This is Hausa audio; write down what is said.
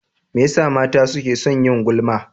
Me yasa mata suke son yin gulma?